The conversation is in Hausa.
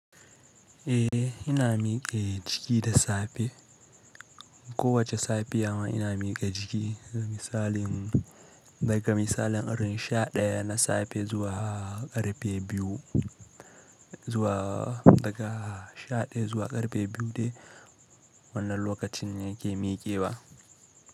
Eh, ina miƙe jiki da safe. Kowace safiya ma ina miƙe jiki, misalin daga misalin irin sha ɗaya na safe zuwa ƙarfe biyu, daga sha ɗaya zuwa ƙarfe biyu de wannan lokacin ne yake miƙewa.